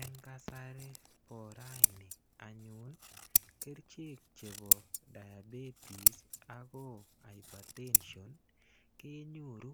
Eng kasari bo raini anyun kerchek chebo diabetes ako hypertension kenyoru